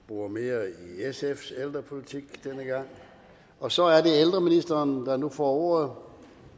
bore mere i sfs ældrepolitik denne gang og så er det ældreministeren der nu får ordet